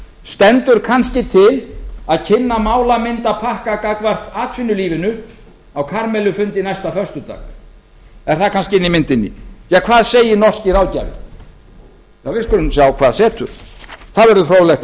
stendur kannski til að kynna málamyndapakka gagnvart atvinnulífinu á karamellufundi næsta föstudag er það kannski inni í myndinni hvað segir norski ráðgjafinn við skulum sjá hvað setur það